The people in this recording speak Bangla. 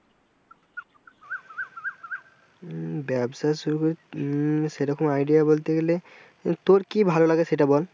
হম ব্যাবসা হম সেরকম idea বলতে গেলে তোর কি ভালো লাগে সেটা বল?